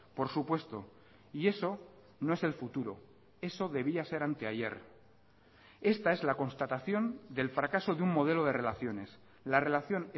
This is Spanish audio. por supuesto y eso no es el futuro eso debía ser anteayer esta es la constatación del fracaso de un modelo de relaciones la relación